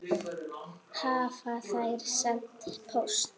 Hafa þær sent póst?